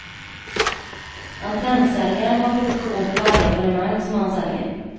Antennsäljaren har provision på varje abonnemang som han säljer.